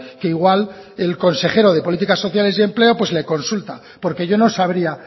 que igual el consejero de políticas sociales y empleo pues le consulta porque yo no sabría